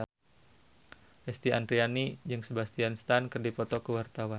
Lesti Andryani jeung Sebastian Stan keur dipoto ku wartawan